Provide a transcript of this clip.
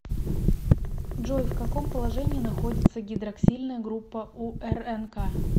джой в каком положении находится гидроксильная группа у рнк